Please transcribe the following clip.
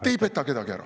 Te ei peta kedagi ära.